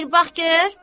Bir bax gör!